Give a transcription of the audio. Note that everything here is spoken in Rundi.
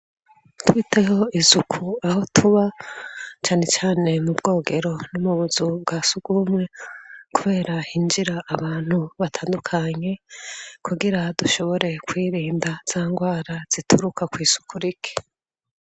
Twiteho isuku aho tuba canecane mu bwogero no mubuzu bwasugumwe kubera hinjira abantu batandukanye kugira dushobore kwirinda zangwara zituruka kw'isuku rike.